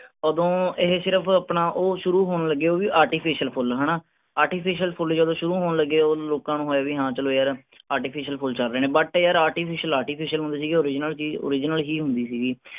ਉਦੋਂ ਏਹੇ ਸਿਰਫ ਅਪਣਾ ਉਹ ਸ਼ੁਰੂ ਹੋਣ ਲੱਗਿਆ ਉਹ ਵੀ artificial ਫੁੱਲ ਹੈਨਾ। artificial ਫੁੱਲ ਜਦੋਂ ਸ਼ੁਰੂ ਹੋਣ ਲੱਗੇ ਓਦੋ ਲੋਕਾਂ ਨੂੰ ਹੋਇਆ ਕੀ ਹਾਂ ਚਲੋ ਯਾਰ artificial ਫੁੱਲ ਚਲ ਰਹੇ ਨੇ but ਯਾਰ artificial, artificial ਹੁੰਦੇ ਸੀਗੇ original ਚੀਜ਼ original ਹੀ ਹੁੰਦੀ ਸੀਗੀ।